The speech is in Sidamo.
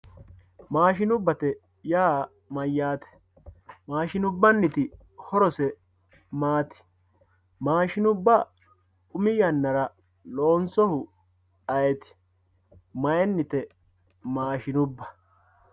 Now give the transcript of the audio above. Maashinubbatte yaa mayattr maashinubbate horosse maati, maashinubba umi yanara loonsohu ayeeti, mayinitte maashinubba